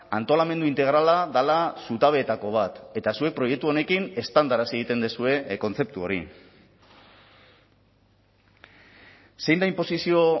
antolamendu integrala dela zutabeetako bat eta zuek proiektu honekin eztandarazi egiten duzue kontzeptu hori zein da inposizio